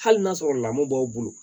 Hali n'a sɔrɔ lamɔ b'aw bolo